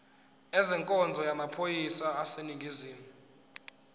ezenkonzo yamaphoyisa aseningizimu